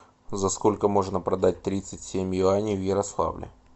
за сколько можно продать тридцать семь юаней в ярославле